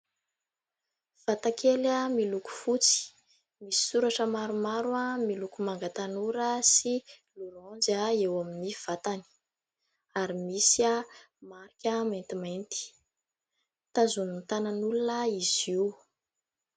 Vatakely miloko fotsy; misy soratra maromaro miloko manga tanora sy laoranjy eo amin'ny vatany, ary misy marika maintimainty. Tazonin'ny tanan'olona izy io.